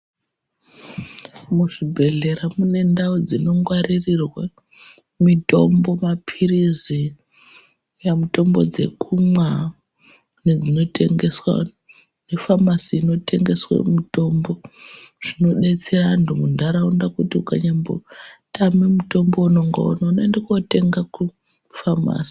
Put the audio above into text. Muzvibhedhlera mune ndau dzinongwaririrwa mitombo mapirizi, yamitombo dzekumwa nedzinotengeswa mufamasi inotengeswa mitombo inodetsera antu mundaraunda kuti kunyambotama mutombo waunonga waona unoenda kotenga kufamasi.